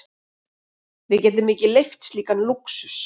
Við getum ekki leyft slíkan lúxus.